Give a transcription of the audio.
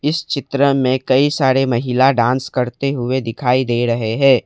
इस चित्र में कई सारे महिला डांस करते हुए दिखाई दे रहे है।